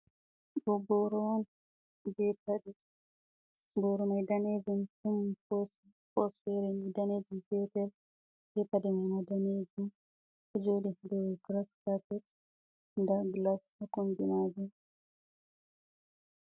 Ɗo boro on be paɗe. Boro mai danejum ɗon pos fere ni danejum petel, be paɗe mai ma danejum, ɗo joɗi dou graskapet, nda glas ɗo kombi maajum.